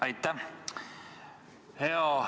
Aitäh!